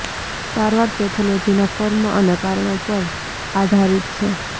સારવાર પેથોલોજીના ફોર્મ અને કારણો પર આધારિત છે